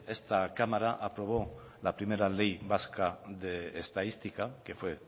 esta cámara aprobó la primera ley vasca de estadística que fue